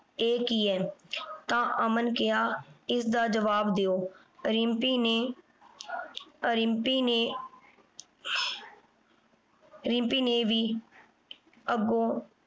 ਇਹ ਕੀ ਹੈ ਤਾਂ ਅਮਨ ਕਿਹਾ ਇਸਦਾ ਜਵਾਬ ਦਿਉ। ਰਿੰਪੀ ਨੇ ਰਿੰਪੀ ਨੇ ਰਿੰਪੀ ਨੇ ਵੀ ਅੱਗੋਂ